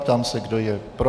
Ptám se, kdo je pro.